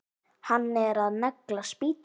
Hann er að negla spýtu.